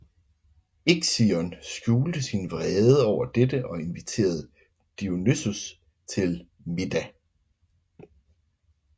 Ixion skjulte sin vrede over dette og inviterede Deioneus til middag